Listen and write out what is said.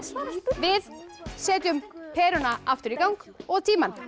við setjum peruna aftur í gang og tímann